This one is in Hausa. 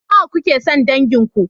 Nawa kuke son dangin ku?